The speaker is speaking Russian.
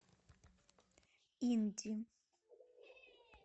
инди